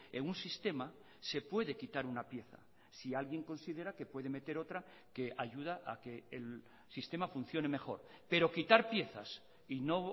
en un sistema se puede quitar una pieza si alguien considera que puede meter otra que ayuda a que el sistema funcione mejor pero quitar piezas y no